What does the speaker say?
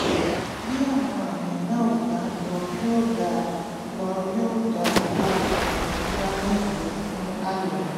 bí àwọn àmì náà ò bá lọ yóò dáa lọ yóò dáa kó o tọ pyramid lọ fún àyẹ̀wò